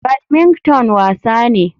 Badmington wasa ne.